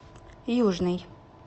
южный